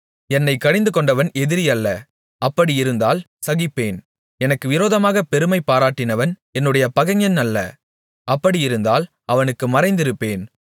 என்னைக் கடிந்துகொண்டவன் எதிரி அல்ல அப்படியிருந்தால் சகிப்பேன் எனக்கு விரோதமாகப் பெருமை பாராட்டினவன் என்னுடைய பகைஞன் அல்ல அப்படியிருந்தால் அவனுக்கு மறைந்திருப்பேன்